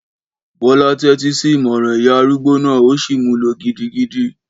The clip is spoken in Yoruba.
Bọ́lá tẹ́tí sí ìmọràn ìyá arúgbó náà ó sì mú lò gidigidi